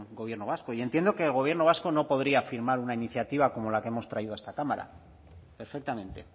gobierno vasco y entiendo que el gobierno vasco no podría firmar una iniciativa como la que hemos traído a esta cámara perfectamente